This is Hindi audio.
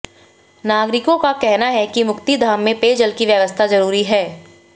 नागरिकों का कहना है कि मुक्तिधाम में पेयजल की व्यवस्था जरूरी है